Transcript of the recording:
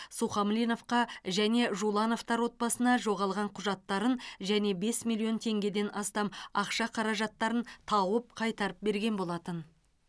сухомлиновқа және жулановтар отбасына жоғалған құжаттарын және бес миллион теңгеден астам ақша қаражаттарын тауып қайтарып берген болатын